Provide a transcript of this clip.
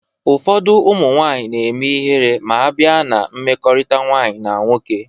Ụfọdụ ụmụ nwanyị na-eme ịhere ma a bịa na mmekọrịta nwanyị na nwoke